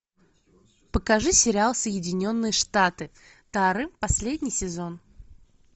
покажи сериал соединенные штаты тары последний сезон